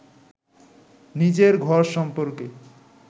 নিজের ঘর সম্পর্কে